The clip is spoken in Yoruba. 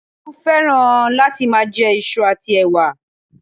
Tolú fẹ́ràn kí ó má a jẹ isu àti ẹ̀wà